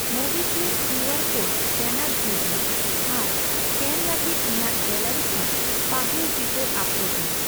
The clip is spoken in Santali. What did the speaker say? ᱢᱳᱵᱤᱠᱣᱤᱠ ᱠᱤᱭᱩᱟᱨ ᱠᱳᱰ ᱮᱥᱠᱮᱱᱟᱨ ᱡᱷᱤᱡ ᱢᱮ ᱟᱨ ᱮᱥᱠᱮᱱ ᱞᱟᱹᱜᱤᱫ ᱤᱧᱟᱜ ᱜᱮᱞᱟᱨᱤ ᱠᱷᱚᱱ ᱯᱟᱹᱦᱤᱞ ᱪᱤᱛᱟᱹᱨ ᱟᱯᱞᱳᱰ ᱢᱮ ᱾